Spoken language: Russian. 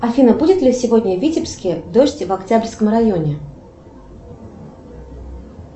афина будет ли сегодня в витебске дождь в октябрьском районе